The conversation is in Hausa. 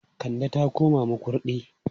Kande ta koma Makurdi.